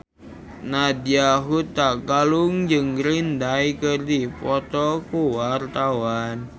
Nadya Hutagalung jeung Green Day keur dipoto ku wartawan